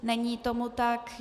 Není tomu tak.